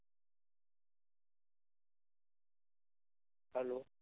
hello